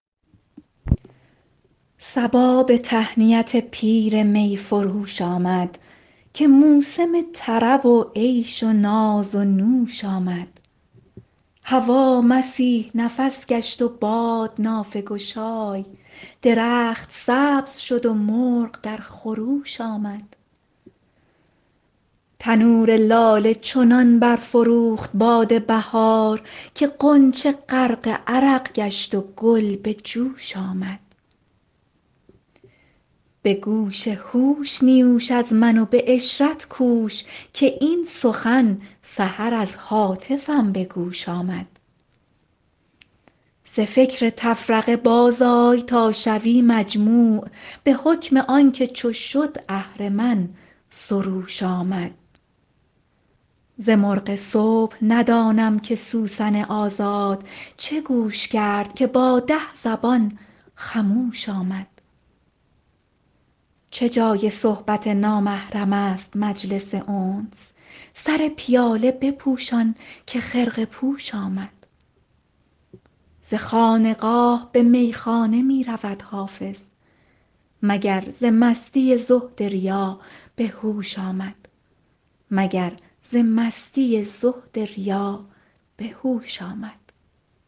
صبا به تهنیت پیر می فروش آمد که موسم طرب و عیش و ناز و نوش آمد هوا مسیح نفس گشت و باد نافه گشای درخت سبز شد و مرغ در خروش آمد تنور لاله چنان برفروخت باد بهار که غنچه غرق عرق گشت و گل به جوش آمد به گوش هوش نیوش از من و به عشرت کوش که این سخن سحر از هاتفم به گوش آمد ز فکر تفرقه بازآی تا شوی مجموع به حکم آن که چو شد اهرمن سروش آمد ز مرغ صبح ندانم که سوسن آزاد چه گوش کرد که با ده زبان خموش آمد چه جای صحبت نامحرم است مجلس انس سر پیاله بپوشان که خرقه پوش آمد ز خانقاه به میخانه می رود حافظ مگر ز مستی زهد ریا به هوش آمد